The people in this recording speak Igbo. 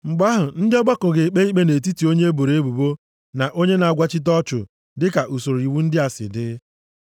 mgbe ahụ, ndị ọgbakọ ga-ekpe ikpe nʼetiti onye e boro ebubo na onye na-agwachite ọchụ dịka usoro iwu ndị a si dị.